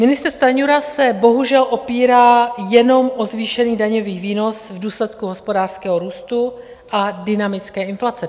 Ministr Stanjura se bohužel opírá jenom o zvýšený daňový výnos v důsledku hospodářského růstu a dynamické inflace.